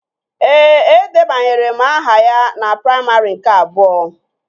Ee, edebanyere m aha ya na praimarị nke abụọ